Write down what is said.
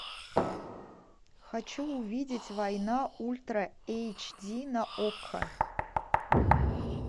хочу увидеть война ультра эйч ди на окко